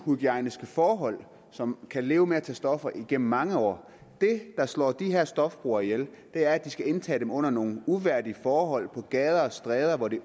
uhygiejniske forhold som kan leve med at tage stoffer igennem mange år det der slår de her stofbrugere ihjel er at de skal indtage dem under nogle uværdige forhold på gader og stræder hvor det